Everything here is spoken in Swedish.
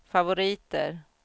favoriter